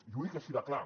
i ho dic així de clar